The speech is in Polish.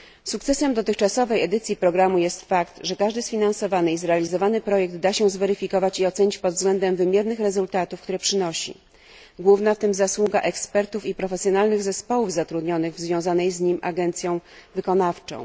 Sukcesem dotychczasowej edycji programu jest fakt, że każdy sfinansowany i zrealizowany projekt da się zweryfikować i ocenić pod względem wymiernych rezultatów, które przynosi. Główna w tym zasługa ekspertów i profesjonalnych zespołów zatrudnionych w związanej z nim agencji wykonawczej.